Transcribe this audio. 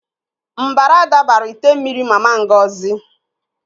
Mbara dabara ite mmiri Mama Ngozi.